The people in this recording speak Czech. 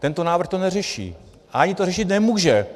Tento návrh to neřeší a ani to řešit nemůže.